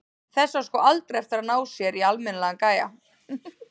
Þessi á sko aldrei eftir að ná sér í almennilegan gæja.